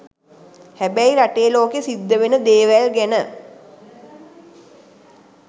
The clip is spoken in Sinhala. හැබැයි රටේ ලෝකෙ සිද්ධවෙන දේවල් ගැන